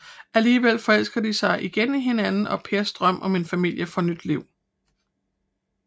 Alligevel forelsker de sig igen i hinanden og Pers drøm om en familie får nyt liv